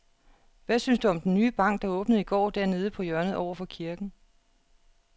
Hvad synes du om den nye bank, der åbnede i går dernede på hjørnet over for kirken?